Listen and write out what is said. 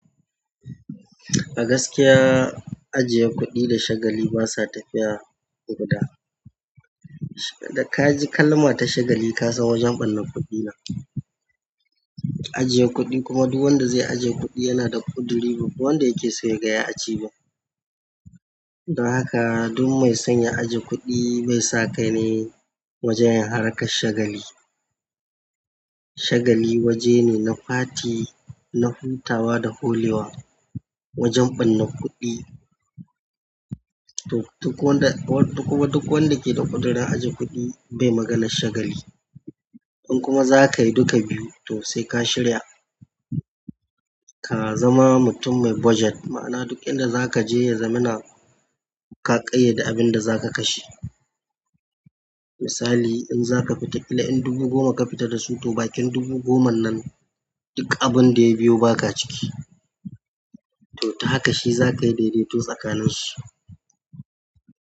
A gaskiya, ajiye kuɗi da shagali basa tafiya guda. Da ka ji kalma ta shagali ka san wajen ɓarnar kuɗi ne. Ajiye kuɗi kuma duk wanda zai ajiye kuɗi yana da ƙuduri, ba wanda yake so ya ga yayi achieving. Don haka duk mai son ya ajiye kuɗi bai sa kai nai wajen harkar shagali. Shagali waje ne na fati, na hutawa da holewa, wajen ɓarnar kuɗi. To duk wanda, duk wanda ke da ƙudurin ajiye kuɗi, bai magana shagali. In kuma za ka yi duka biyu, to sai ka shirya, ka zama mutum mai budget, ma'ana duk inda za ka je ya zama na ka ƙayyade abin da za ka kashe. Misali in za ka fita ƙila in dubu goma ka fita da su, to bakin dubu goman nan duk abin da ya biyo ba ka ciki. To ta haka shi za ka yi daidaito tsakanin shi.